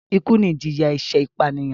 Ikú ni ìjìyà ẹ̀ṣẹ̀ ìpànìyàn